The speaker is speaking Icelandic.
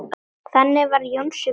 Þannig var Jónsi bróðir.